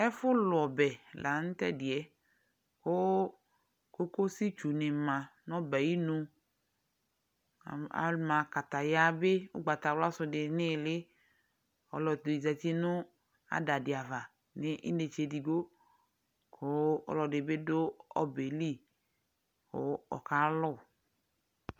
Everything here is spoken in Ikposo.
Ɛfʋlʋ ɔbɛ la nʋ tʋ ɛdɩ yɛ kʋ kokositdunɩ ma nʋ ɔbɛ yɛ ayɩnu Anm ama kataya bɩ ʋgbatawlasʋ dɩ nʋ ɩɩlɩ Ɔlɔdɩ zati nʋ ada dɩ ava nʋ inetse edigbo kʋ ɔlɔdɩ bɩ dʋ ɔbɛ yɛ li kʋ ɔkalʋ